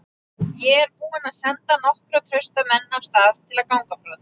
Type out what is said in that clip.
Ég er búinn að senda nokkra trausta menn af stað til að ganga frá þér.